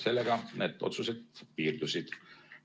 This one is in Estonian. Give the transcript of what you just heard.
Sellega need otsused piirdusid.